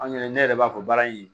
An yɛrɛ ne yɛrɛ b'a fɔ baara in